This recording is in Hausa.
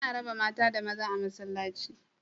Ana raba mata da maza a masallaci